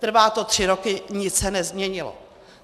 Trvá to tři roky, nic se nezměnilo.